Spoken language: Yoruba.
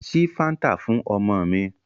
Ṣí Fáńtà fún ọmọ mi.